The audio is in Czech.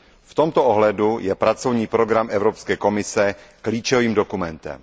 V tomto ohledu je pracovní program Evropské komise klíčovým dokumentem.